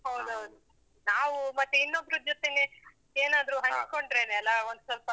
ಹೌದೌದು. ನಾವು ಮತ್ತೆ ಇನ್ನೊಬ್ರು ಜೊತೇಲಿ. ಏನಾದ್ರೂ ಹಂಚಿಕೊಂಡ್ರೇನೇ ಅಲ್ಲ, ಒಂದ್ಸೊಲ್ಪ.